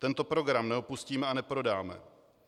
Tento program neopustíme a neprodáme.